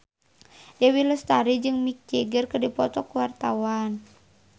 Dewi Lestari jeung Mick Jagger keur dipoto ku wartawan